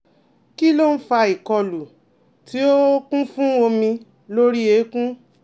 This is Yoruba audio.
Kí ló ń fa ìkọlù tí ó kún fún omi lórí eékún?